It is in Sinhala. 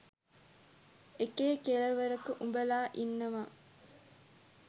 එකේ කෙළවරක උබලා ඉන්නවා